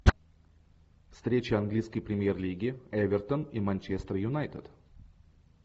встреча английской премьер лиги эвертон и манчестер юнайтед